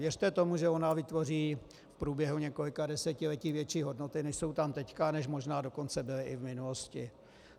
Věřte tomu, že ona vytvoří v průběhu několika desetiletí větší hodnoty, než jsou tam teď, než možná dokonce byly i v minulosti.